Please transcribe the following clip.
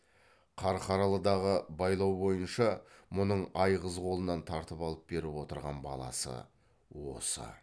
қарқаралыдағы байлау бойынша мұның айғыз қолынан тартып алып беріп отырған баласы осы